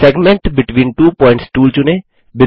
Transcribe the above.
segment between two points tool चुनें